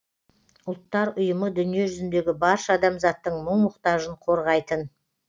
ұлттар ұйымы дүниежүзіндегі барша адамзаттың мұң мұқтажын қорғайтын